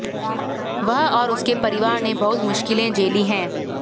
वह और उसके परिवार ने बहुत मुश्किलें झेली हैं